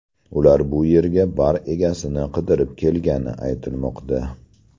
Ular bu yerga bar egasini qidirib kelgani aytilmoqda.